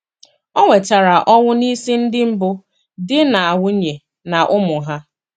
O wetara ọnwụ n'isi ndị mbụ di na nwunye na ụmụ ha.